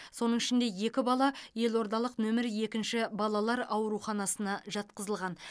соның ішінде екі бала елордалық нөмірі екінші балалар ауруханасына жатқызылған